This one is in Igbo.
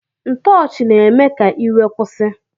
Ntoochi na eme ka iwe kwusi.